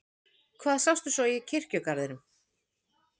Hvað sástu svo í kirkjugarðinum?